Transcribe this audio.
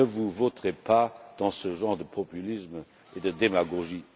Ne vous vautrez pas dans ce genre de populisme et de démagogie.